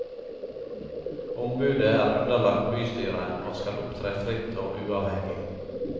Ombudet er underlagt bystyret, og skal opptre fritt og uavhengig.